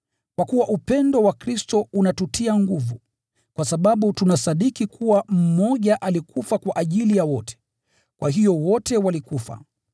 Kwa kuwa upendo wa Kristo unatutia nguvu, kwa sababu tunasadiki kuwa mmoja alikufa kwa ajili ya wote, kwa hiyo wote walikufa.